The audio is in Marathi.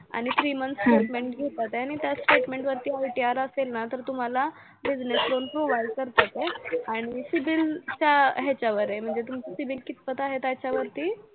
आणि three months statement घेतात आहे, आणि त्या statement वरती ITR असेल ना तर तुम्हाला business loan provide करतात आहे आणि cibil च्या ह्याच्यावर आहे, म्हणजे तुमचे cibil कित पर्यंत आहे त्याच्यावरती